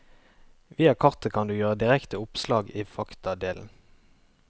Via kartet kan du gjøre direkte oppslag i faktadelen.